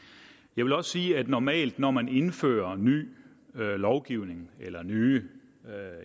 jeg vil også sige at normalt når man indfører ny lovgivning eller nye